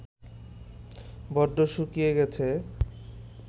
বড্ড শুকিয়ে গেছে